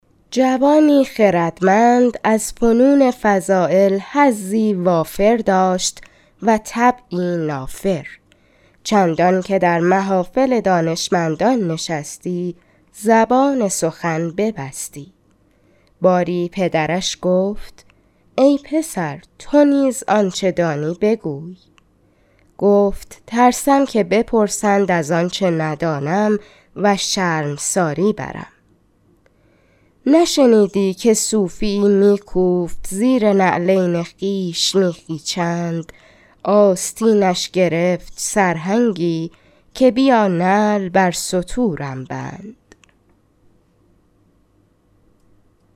جوانی خردمند از فنون فضایل حظی وافر داشت و طبعی نافر چندان که در محافل دانشمندان نشستی زبان سخن ببستی باری پدرش گفت ای پسر تو نیز آنچه دانی بگوی گفت ترسم که بپرسند از آنچه ندانم و شرمساری برم نشنیدی که صوفی یی می کوفت زیر نعلین خویش میخی چند آستینش گرفت سرهنگی که بیا نعل بر ستورم بند